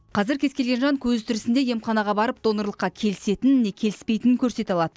қазір кез келген жан көзі тірісінде емханаға барып донорлыққа келісетінін не келіспейтінін көрсете алады